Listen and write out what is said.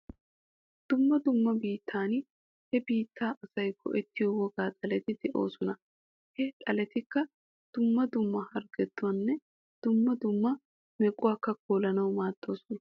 Dumma dumma biittan he biittaa asay go'ettiyo wogaa xaleti de'oosona. Ha xaletikka dumma dumma harggetanne dumma dumma mequwakka kolanawu go'oosona.